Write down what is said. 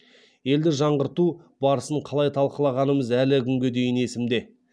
елді жаңғырту барысын қалай талқылағанымыз әлі күнге дейін есімде